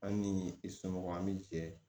An ni i somɔgɔw an bi jɛ